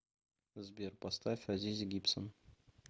сбер поставь азизи гибсон